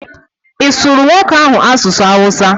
Ị surụ nwoke ahụ Asụsụ Awụsa?